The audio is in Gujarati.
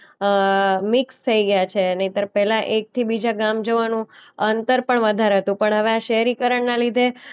અ મિક્સ થઈ ગયા છે. નહીંતર પહેલા એકથી બીજા ગામ જવાનું અંતર પણ વધારે હતું. પણ હવે આ શહેરીકરણના લીધે